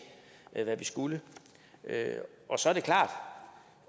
hvad vi skulle med så er det klart